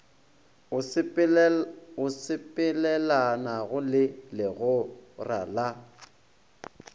o sepelelanago le legora la